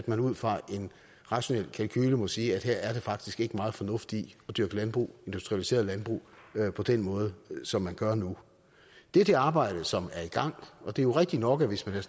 man ud fra en rationel kalkule må sige at her er der faktisk ikke meget fornuft i at dyrke landbrug industrialiseret landbrug på den måde som man gør nu det er det arbejde som er i gang og det er jo rigtigt nok at hvis man